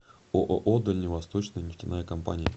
ооо дальневосточная нефтяная компания